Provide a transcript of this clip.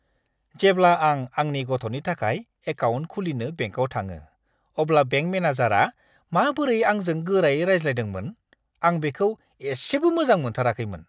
जेब्ला आं आंनि गथ'नि थाखाय एकाउन्ट खुलिनो बेंकआव थाङो, अब्ला बेंक मेनेजारआ माबोरै आंजों गोरायै रायज्लायदोंमोन, आं बेखौ एसेबो मोजां मोनथाराखैमोन।